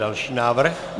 Další návrh.